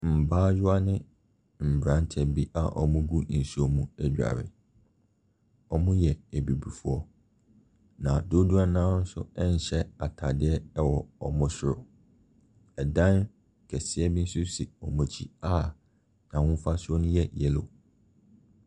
Mmayewa ne mmeranteɛ bi a wɔgu nsuo mu redware. Wɔyɛ abibifoɔ. Na dodoɔ no ara nso nhyɛ atade wɔ wɔn soro. Dan kɛseɛ bi nso si wɔn akyi a n'ahofasuo no yɛ yellow.